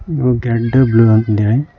you K W ಅಂತ್ ಹೇಳಿ--